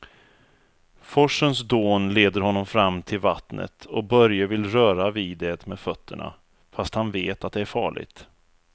Forsens dån leder honom fram till vattnet och Börje vill röra vid det med fötterna, fast han vet att det är farligt.